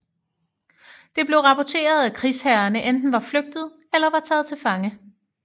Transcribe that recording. Det blev rapporteret at krigsherrerne enten var flygtet eller var taget til fange